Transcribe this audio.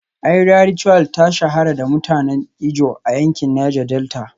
Iria Ritual ta shahara da mutanen ijaw a yankin Niger Delta